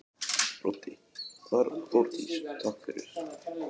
Broddi: Þórdís takk fyrir.